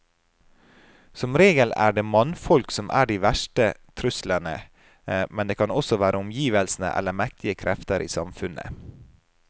Som regel er det mannfolk som er de verste truslene, men det kan også være omgivelsene eller mektige krefter i samfunnet.